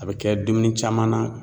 A bɛ kɛ dumuni caman na.